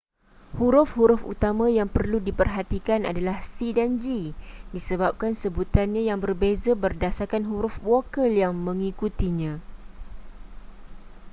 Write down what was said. huruf-huruf utama yang perlu diperhatikan adalah c dan g disebabkan sebutannya yang berbeza berdasarkan huruf vokal yang mengikutinya